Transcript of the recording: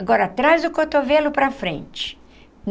Agora traz o cotovelo para frente.